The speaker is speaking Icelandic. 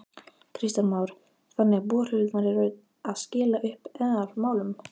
Kristján Már: Þannig að borholurnar eru að skila upp eðalmálmum?